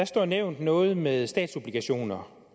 står nævnt noget med statsobligationer